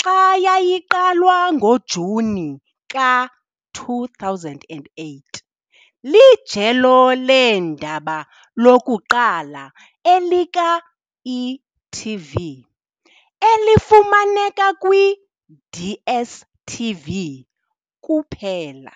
xa yayiqalwa ngoJuni ka-2008 Lijelo leendaba lokuqala elika-e.tv elifumaneka kwi -DStv kuphela.